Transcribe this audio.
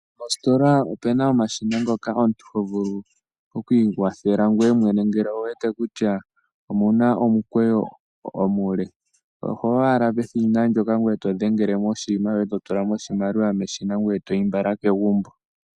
Mositola omu na omashina mpoka ho vulu okuikwathela ngoye mwene ngele owu wete kutya omu na omukweyo omule. Oho yi owala peshina mpoka to dhengele mo oshinima shoye, e to tula mo oshimaliwa meshina ngoye e to yi mbala kegumbo.